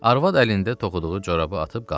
Arvad əlində toxuduğu corabı atıb qalxdı.